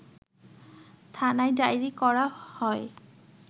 থানায় ডায়েরি করা হয়